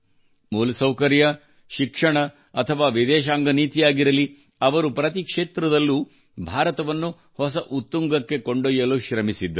ಮೂಲಸೌಕರ್ಯ ಶಿಕ್ಷಣ ಅಥವಾ ವಿದೇಶಾಂಗ ನೀತಿಯಾಗಿರಲಿ ಅವರು ಪ್ರತಿ ಕ್ಷೇತ್ರದಲ್ಲೂ ಭಾರತವನ್ನು ಹೊಸ ಉತ್ತುಂಗಕ್ಕೆ ಕೊಂಡೊಯ್ಯಲು ಶ್ರಮಿಸಿದ್ದರು